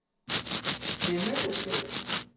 stemmebesked